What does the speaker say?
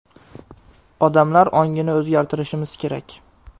Odamlarning ongini o‘zgartirishimiz kerak.